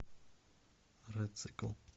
рецикл